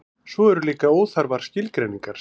svo eru líka óþarfar skilgreiningar